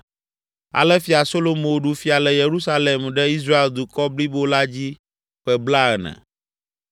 Ale Fia Solomo ɖu fia le Yerusalem ɖe Israel dukɔ blibo la dzi ƒe blaene.